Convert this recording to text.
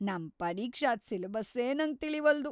ನಮ್ ಪರೀಕ್ಷಾದ್‌ ಸಿಲೆಬಸ್ಸೇ ನಂಗ್ ತಿಳೀವಲ್ದು.